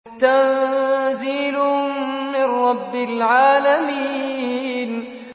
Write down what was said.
تَنزِيلٌ مِّن رَّبِّ الْعَالَمِينَ